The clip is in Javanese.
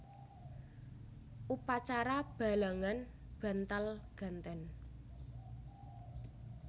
Upacara balangan bantal ganten